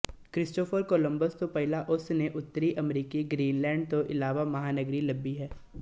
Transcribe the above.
Christopher Columbus ਤੋਂ ਪਹਿਲਾਂ ਉਸ ਨੇ ਉੱਤਰੀ ਅਮਰੀਕਾ ਗ੍ਰੀਨਲੈਂਡ ਤੋਂ ਇਲਾਵਾ ਮਹਾਂਨਗਰੀ ਲੱਭੀ ਹੈ